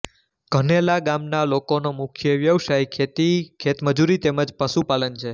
ધનેલા ગામના લોકોનો મુખ્ય વ્યવસાય ખેતી ખેતમજૂરી તેમ જ પશુપાલન છે